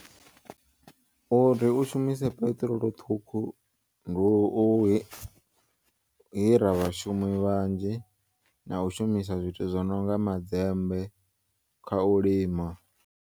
Uri u shumise peṱirolo ṱhukhu ndi u hira vhashumi vhanzhi na u shumisa zwithu zwo nonga madzembe kha u lima.